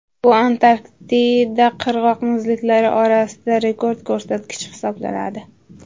Bu Antarktida qirg‘oq muzliklari orasida rekord ko‘rsatkich hisoblanadi.